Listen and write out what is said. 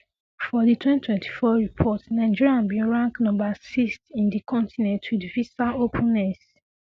for di 2024 report nigeria bin rank number 6th in di continent wit visa openness